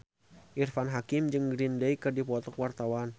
Irfan Hakim jeung Green Day keur dipoto ku wartawan